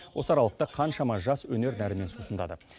осы аралықта қаншама жас өнер нәрімен сусындады